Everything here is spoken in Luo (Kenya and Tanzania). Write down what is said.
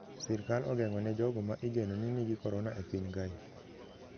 Sirkal ogeng`o ne jogo ma igeno ne nigi korona e piny kae